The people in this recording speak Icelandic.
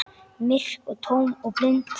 Myrk og tóm og blind.